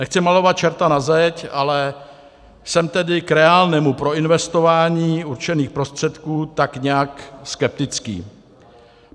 Nechci malovat čerta na zeď, ale jsem tedy k reálnému proinvestování určených prostředků tak nějak skeptický.